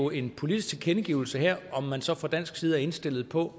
en politisk tilkendegivelse herfra om man så fra dansk side er indstillet på